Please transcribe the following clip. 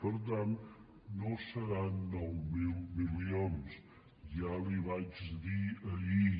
per tant no seran nou mil milions ja li ho vaig dir ahir